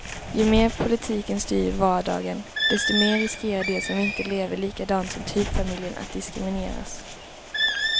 Ju mer politiken styr vardagen, desto mer riskerar de som inte lever likadant som typfamiljen att diskrimineras.